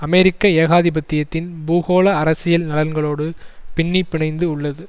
அமெரிக்க ஏகாதிபத்தியத்தின் பூகோள அரசியல் நலன்களோடு பின்னிப்பிணைந்து உள்ளது